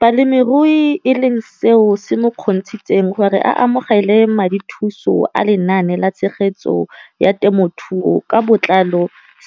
Balemirui e leng seo se mo kgontshitseng gore a amogele madithuso a Lenaane la Tshegetso ya Te mothuo ka Botlalo